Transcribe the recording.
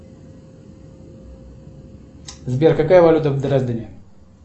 сбер какая валюта в дрездене